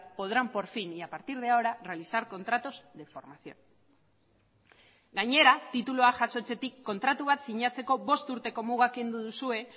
podrán por fin y a partir de ahora realizar contratos de formación gainera titulua jasotzetik kontratu bat sinatzeko bost urteko muga kendu duzue